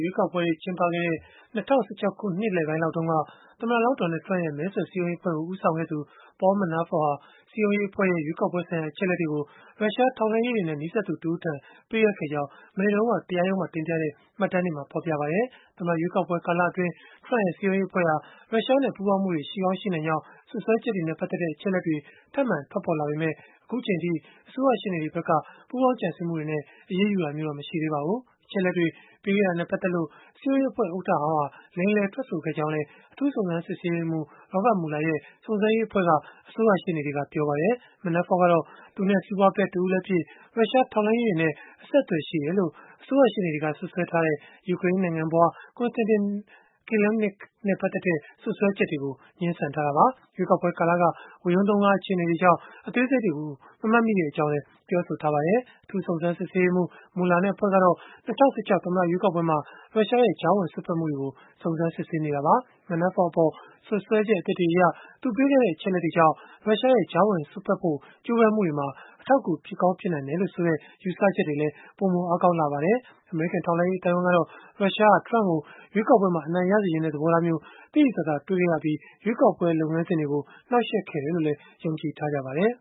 ရွေးကောက်ပွဲတွေ ကျင်းပခဲ့တဲ့ ၂၀၁၆ ခုနှစ်လယ်ပိုင်းလောက်တုန်းက သမ္မတလောင်း Donald Trump ရဲ့ မဲဆွယ်စည်းရုံးရေးအဖွဲ့ကို ဦးဆောင်ခဲ့သူ Paul Manafort ဟာ စည်းရုံးရဲ့အဖွဲ့ရဲ့ ရွေးကောက်ပွဲဆိုင်ရာ အချက်အလက်တွေကို ရုရှားထောက်လှမ်းရေးတွေနဲ့ နီးစပ်သူတဦးထံ ပေးအပ်ခဲ့ကြောင်း မနေ့တုန်းက တရားရုံးမှာ တင်ပြတဲ့မှတ်တမ်းတွေမှာ ဖော်ပြထားပါတယ်။ သမ္မတ ရွေးကောက်ပွဲ ကာလအတွင်း Trump ရဲ့ စည်းရုံးရေးအဖွဲ့ဟာ ရုရှားနဲ့ ပူးပေါင်းမှုတွေ ရှိကောင်းရှိနိုင်ကြောင်း စွပ်စွဲချက်တွေနဲ့ ပတ်သက်တဲ့ အချက်အလက်တွေ ထပ်မံထွက်ပေါ်လာနေပေမဲ့ အခုအချိန်အထိ အစိုးရရှေ့နေတွေဘက်က ပူးပေါင်းကြံစည်မှုတွေနဲ့ အရေးယူတာမျိုးတော့ မရှိသေးပါဘူး။ အချက်အလက်တွေ ပေးခဲ့တာနဲ့ ပတ်သက်လို့ စည်းရုံးရေးအဖွဲ့ ဥက္ကဋ္ဌဟောင်းဟာ လိမ်လည် ထွက်ဆိုခဲ့ကြောင်းလည်း အထူးစုံစမ်းစစ်ဆေးရေးမှူး Robert Mueller ရဲ့ စုံစမ်းရေးအဖွဲ့က အစိုးရရှေ့နေတွေက ပြောပါတယ်။ Manafort ကတော့ သူနဲ့ စီးပွားဖက်တဦးလည်းဖြစ်၊ ရုရှားထောက်လှမ်းရေးတွေနဲ့ အဆက်အသွယ်ရှိတယ်လို့ အစိုးရရှေ့နေတွေက စွပ်စွဲထားတဲ့ ယူကရိန်းနိုင်ငံဖွား Konstantin Kilimnik နဲ့ ပတ်သက်တဲ့ စွပ်စွဲချက်တွေကို ငြင်းဆန်ထားတာပါ။ ရွေးကောက်ပွဲကာလက ဝရုန်းသုန်းကား အခြေအနေတွေကြောင့် အသေးစိတ်တွေကို မမှတ်မိကြောင်းလည်း ပြောဆိုထားပါတယ်။ အထူးစုံစမ်းရေးမှူး Mueller နဲ့ အဖွဲ့ကတော့ ၂၀၁၆ သမ္မတ ရွေးကောက်ပွဲမှာ ရုရှားရဲ့ ကြားဝင်စွက်ဖက်မှုတွေကို စုံစမ်းစစ်ဆေးနေတာပါ။ Manafort အပေါ် စွပ်စွဲချက် အသစ်တွေအရ၊ သူပေးခဲ့တဲ့ အချက်အလက်တွေကြောင့် ရုရှားရဲ့ ကြားဝင်စွက်ဖက်ဖို့ ကြိုးပမ်းမှုတွေမှာ အထောက်အကူ ဖြစ်ကောင်း ဖြစ်နိုင်တယ်လို့ဆိုတဲ့ ယူဆချက်တွေလည်း ပိုမိုအားကောင်းလာခဲ့ပါတယ်။ အမေရိကန် ထောက်လှမ်းရေး အသိုင်းအဝန်းကတော့ ရုရှားဟာ Trump ကို ရွေးကောက်ပွဲမှာ အနိုင်ရစေချင်တဲ့ သဘောထားမျိုး သိသိသာသာ တွေ့ခဲ့ရပြီး ရွေးကောက်ပွဲ လုပ်ငန်းစဉ်တွေကို နှောက်ယှက်ခဲ့တယ်လို့လည်း ယုံကြည်ထားကြပါတယ်